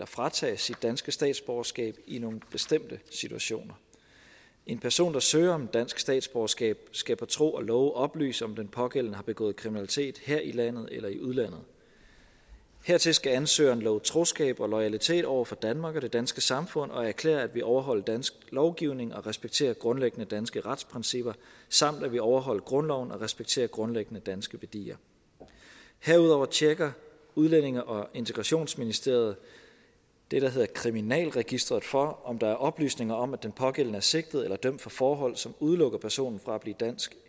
fratages sit danske statsborgerskab i nogle bestemte situationer en person der søger om dansk statsborgerskab skal på tro og love oplyse om den pågældende har begået kriminalitet her i landet eller i udlandet hertil skal ansøgeren love troskab og loyalitet over for danmark og det danske samfund og erklære at ville overholde dansk lovgivning og respektere grundlæggende danske retsprincipper samt at ville overholde grundloven og respektere grundlæggende danske værdier herudover tjekker udlændinge og integrationsministeriet det der hedder kriminalregisteret for om der er oplysninger om at den pågældende er sigtet eller dømt for forhold som udelukker personen fra at blive dansk